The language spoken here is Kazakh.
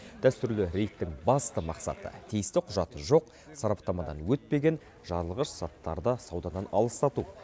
дәстүрлі рейдтің басты мақсаты тиісті құжаты жоқ сараптамадан өтпеген жарылғыш заттарды саудадан алыстату